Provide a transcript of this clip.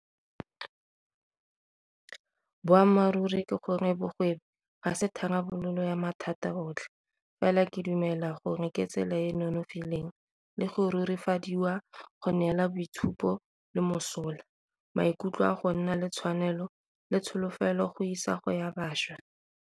Boammaruri ke gore bogwebi ga se tharabololo ya mathata otlhe, fela ke dumela gore ke tsela e e nonofileng le go rurifadiwa go neela boitshupo le mosola, maikutlo a go nna le tshwanelo, le tsholofelo go isago ya bašwa.